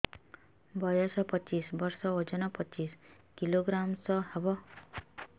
ବୟସ ପଚିଶ ବର୍ଷ ଓଜନ ପଚିଶ କିଲୋଗ୍ରାମସ ହବ